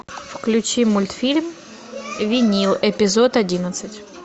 включи мультфильм винил эпизод одиннадцать